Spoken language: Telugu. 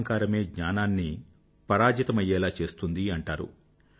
అహంకారమే జ్ఞానాన్ని పరాజితమయ్యేలా చేస్తుంది అంటారు